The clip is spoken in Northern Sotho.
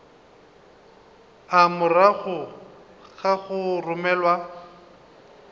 a morago ga go romelwa